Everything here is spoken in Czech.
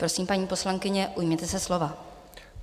Prosím, paní poslankyně, ujměte se slova.